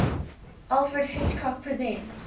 alfred hitchcock presents